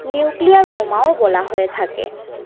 nuclear বোমা ও বলা হয়ে থাকে